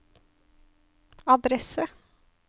adresse